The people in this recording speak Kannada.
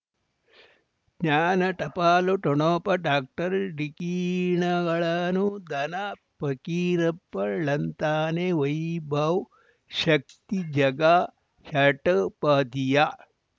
ಜ್ಞಾನ ಟಪಾಲು ಠೊಣಪ ಡಾಕ್ಟರ್ ಢಿಕ್ಕಿ ಣಗಳನು ಧನ ಫಕೀರಪ್ಪ ಳಂತಾನೆ ವೈಭವ್ ಶಕ್ತಿ ಝಗಾ ಷಟುಪದಿಯ